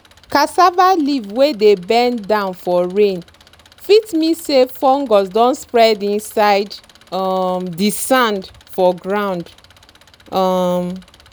cassava leaf wey dey bend down for rain fit mean say fungus don spread inside um di sand for ground. um